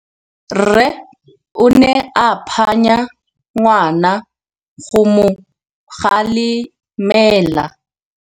Rre o ne a phanya ngwana go mo galemela.